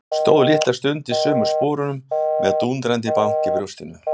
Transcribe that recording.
Stóð litla stund í sömu sporunum með dúndrandi bank í brjóstinu.